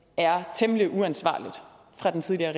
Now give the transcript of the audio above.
er temmelig uansvarligt fra den tidligere